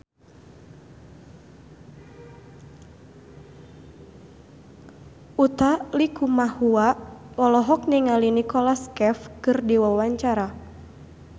Utha Likumahua olohok ningali Nicholas Cafe keur diwawancara